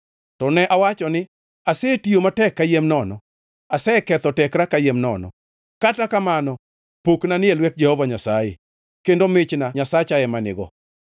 To ne awacho ni, “Asetiyo matek kayiem nono; aseketho tekra kayiem nono. Kata kamano pokna ni e lwet Jehova Nyasaye kendo michna Nyasacha ema nigo.”